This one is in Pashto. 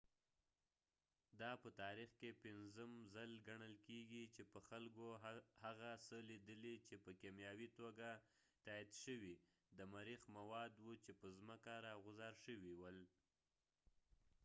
دا په تاریخ کې پنځم ځل ګڼل کيږي چې خلکو هغه څه لیدلي چې په کیمیاوي توګه تایید شوي د مریخ مواد وو چې په ځمکه راغوځار شوي ول